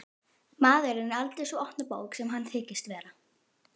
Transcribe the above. Maðurinn er aldrei sú opna bók sem hann þykist vera.